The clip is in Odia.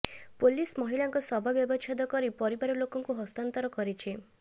ପୋଲିସ ମହିଳାଙ୍କ ଶବ ବ୍ୟବଚ୍ଛେଦ କରି ପରିବାର ଲୋକଙ୍କୁ ହସ୍ତାନ୍ତର କରିଛି